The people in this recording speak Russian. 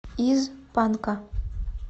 из панка